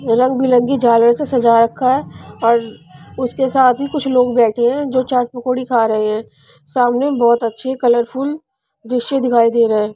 रंग पिलंगी झालर से सजा रखा है और उसके साथ ही कुछ लोग बैठे हैं जो चाट पकौड़ी खा रहे हैं सामने बहुत अच्छे कलरफुल दृश्य दिखाई दे रहा है.